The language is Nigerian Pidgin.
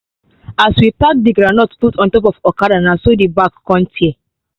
as we pack the groundnut put on top okada na so the bag con tear